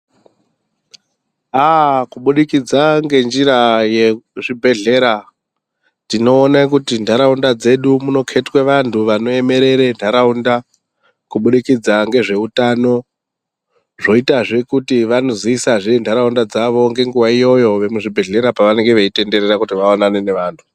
Ahh kubudikidza ngenjira yezvibhedhleya tinoone kuti ntaraunda dzedu munoketwe vantu vanomirire kubudikidza ngezveutano zvoitazve kuti vanozivisazve ntaraunda dzavo ngenguva iyoyo muzvibhedhleya pavanenge veitenderera kuti vaonane nevantu.